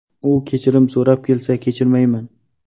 U kechirim so‘rab kelsa, kechirmayman.